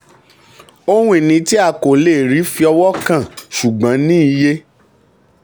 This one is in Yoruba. ohun ìní tí a kò lè rí fi ọwọ́ kàn ṣùgbọ́n ní iye.